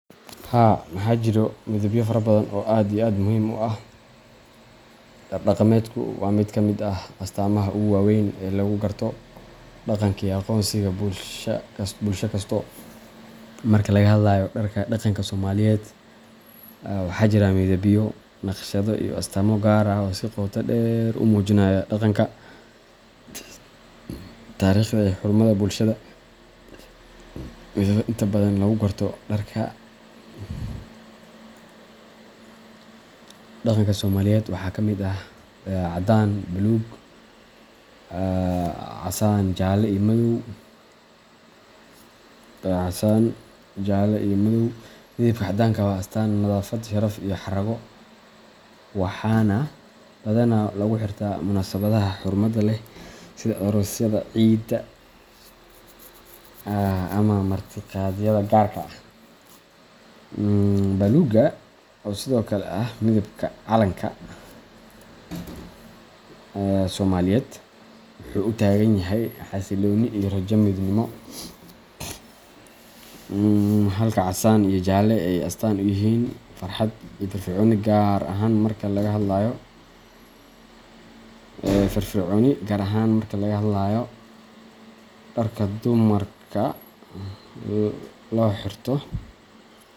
Haa majiro midabyo fara badan oo aad iyo aad muhim u ah. Dharka dhaqameedku waa mid ka mid ah astaamaha ugu waaweyn ee lagu garto dhaqanka iyo aqoonsiga bulsho kasta. Marka laga hadlayo dharka dhaqanka Soomaaliyeed, waxaa jira midabyo, naqshado, iyo astaamo gaar ah oo si qoto dheer u muujinaya dhaqanka, taariikhda, iyo xurmada bulshada. Midabada inta badan lagu garto dharka dhaqanka Soomaaliyeed waxaa ka mid ah caddaan, baluug, casaan, jaalle, iyo madow. Midabka caddaanku waa astaan nadaafad, sharaf, iyo xarrago, waxaana badanaa lagu xirtaa munaasabadaha xurmada leh sida aroosyada, ciida, ama martiqaadyada gaarka ah. Baluuggu, oo sidoo kale ah midabka calanka Soomaaliyeed, wuxuu u taagan yahay xasillooni iyo rajada midnimo, halka casaan iyo jaalle ay astaan u yihiin farxad iyo firfircooni gaar ahaan marka laga hadlayo dharka dumarka ee loo xirto.